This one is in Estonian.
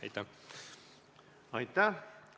Aitäh!